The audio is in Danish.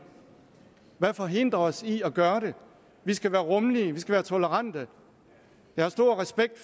hvad forhindrer os i at gøre det vi skal være rummelige vi skal være tolerante jeg har stor respekt